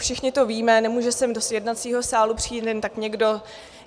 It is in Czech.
Všichni to víme, nemůže sem do jednacího sálu přijít jen tak někdo.